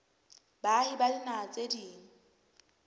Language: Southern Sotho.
baahi ba dinaha tse ding